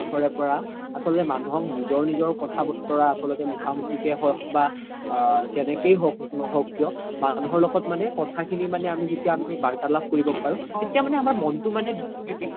পৰা আচ্ল্তে মানুহ নিজৰ নিজৰ কথা বতৰা আচ্ল্তে মুখা মুখিকে হ'ক বা আ যেনেকে হওক নহওক মানুহৰ লগত মানে কথা খিনি মানে আমি যেতিয়া বাৰ্তলাপ কৰিব পাৰো তেতিয়া মানে আমাৰ মনতো মানে